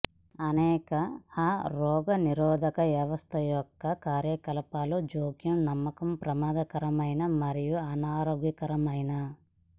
అనేక ఆ రోగనిరోధక వ్యవస్థ యొక్క కార్యకలాపాలు జోక్యం నమ్మకం ప్రమాదకరమైన మరియు అనారోగ్యకరమైన